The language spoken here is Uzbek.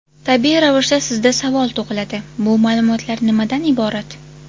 Tabiiy ravishda sizda savol tug‘iladi: bu ma’lumotlar nimadan iborat?